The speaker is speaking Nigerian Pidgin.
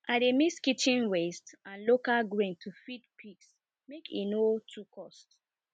i dey mix kitchen waste and local grain to feed pigs make e no too cost